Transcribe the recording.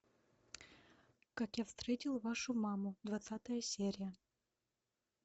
как я встретил вашу маму двадцатая серия